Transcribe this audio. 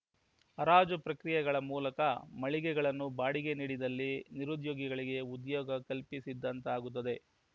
ಹರಾಜು ಪ್ರಕ್ರಿಯೆಗಳ ಮೂಲಕ ಮಳಿಗೆಗಳನ್ನು ಬಾಡಿಗೆಗೆ ನೀಡಿದಲ್ಲಿ ನಿರುದ್ಯೋಗಿಗಳಿಗೆ ಉದ್ಯೋಗ ಕಲ್ಪಿಸಿದಂತಾಗುತ್ತದೆ